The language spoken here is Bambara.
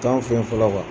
T'an fɛ yen fɔlɔ